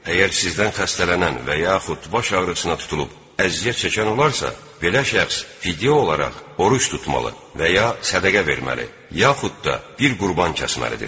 Əgər sizdən xəstələnən və yaxud baş ağrısına tutulub əziyyət çəkən olarsa, belə şəxs fidyə olaraq oruc tutmalı və ya sədəqə verməli, yaxud da bir qurban kəsməlidir.